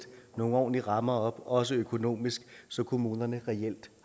nogle ordentlige rammer op også økonomisk så kommunerne reelt